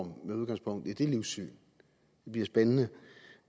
med udgangspunkt i det livssyn det bliver spændende